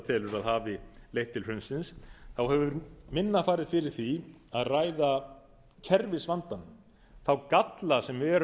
telur að hafi leitt til hrunsins þá hefur minna farið fyrir því að ræða kerfisvandinn þá galla sem eru